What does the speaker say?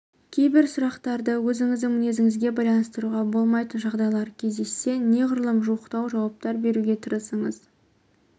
кейбір сұрақтарды өзіңіздің мінезіңізге байланыстыруға болмайтын жағдайлар кездессе неғұрлым жуықтау жауаптар беруге тырысыңыз